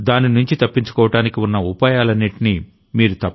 దానినుంచి తప్పించుకోవడానికి ఉన్న ఉపాయాలన్నింటినీ మీరు